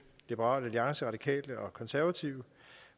liberal alliance radikale og konservative